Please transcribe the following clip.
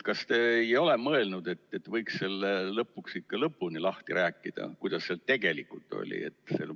Kas te ei ole mõelnud, et võiks selle lõpuks ikka lõpuni lahti rääkida, et kuidas see tegelikult oli?